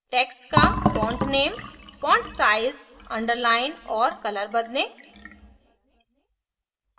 text का font name font size underline और colour बदलें